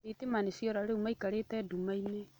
Thitima nĩciora rĩu maikarĩte ndumainĩ.